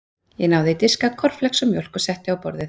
Ég náði í diska, kornflex og mjólk og setti á borðið.